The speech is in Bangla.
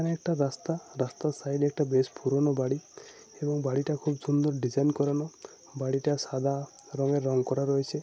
এখানে একটা রাস্তা । রাস্তার সাইড এ একটা বেশ পুরানো বাড়ি । এবং বাড়িটা খুব সুন্দর ডিসাইন করানো । বাড়িটা সাদা রঙে রং করানো রয়েছে ।